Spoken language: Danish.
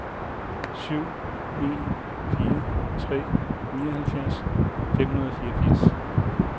syv en fire tre nioghalvfjerds fem hundrede og fireogfirs